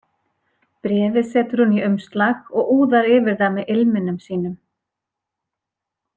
Bréfið setur hún í umslag og úðar yfir það með ilminum sínum.